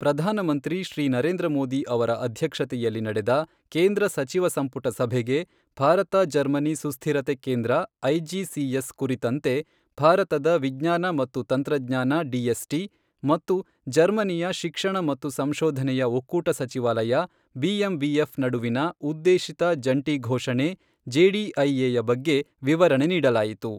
ಪ್ರಧಾನಮಂತ್ರಿ ಶ್ರೀ ನರೇಂದ್ರ ಮೋದಿ ಅವರ ಅಧ್ಯಕ್ಷತೆಯಲ್ಲಿ ನಡೆದ ಕೇಂದ್ರ ಸಚಿವ ಸಂಪುಟ ಸಭೆಗೆ, ಭಾರತ ಜರ್ಮನಿ ಸುಸ್ಥಿರತೆ ಕೇಂದ್ರ ಐಜಿಸಿಎಸ್ ಕುರಿತಂತೆ ಭಾರತದ ವಿಜ್ಞಾನ ಮತ್ತು ತಂತ್ರಜ್ಞಾನ ಡಿಎಸ್ಟಿ, ಮತ್ತು ಜರ್ಮನಿಯ ಶಿಕ್ಷಣ ಮತ್ತು ಸಂಶೋಧನೆಯ ಒಕ್ಕೂಟ ಸಚಿವಾಲಯ ಬಿಎಂಬಿಎಫ್ ನಡುವಿನ ಉದ್ದೇಶಿತ ಜಂಟಿ ಘೋಷಣೆ ಜೆಡಿಐ ಯ ಬಗ್ಗೆ ವಿವರಣೆ ನೀಡಲಾಯಿತು.